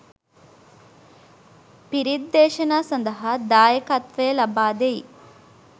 පිරිත්දේශනා සඳහා දායකත්වය ලබා දෙයි.